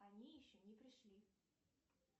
они еще не пришли